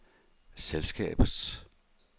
selskabets